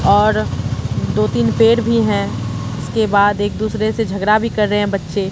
और दो-तीन पेड़ भी हैं उसके बाद एक दूसरे से झगड़ा भी कर रहे हैं बच्चे।